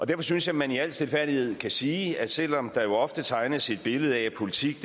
derfor synes jeg man i al stilfærdighed kan sige at selv om der jo ofte tegnes et billede af at politik